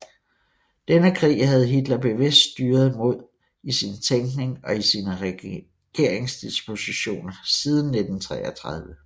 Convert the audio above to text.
Denne krig havde Hitler bevidst styret mod i sin tænkning og i sine regeringsdispositioner siden 1933